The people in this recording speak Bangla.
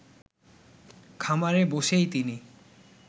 খামারে বসেই তিনি